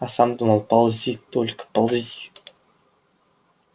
а сам думал ползи только ползи